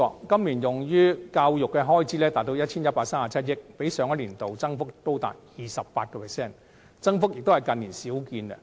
今年用於教育的開支達 1,137 億元，較上年度增幅高達 28%， 增幅之大屬近年少見。